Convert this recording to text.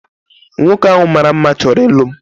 Nwoke ahu mara mma chọrọ ịlụ m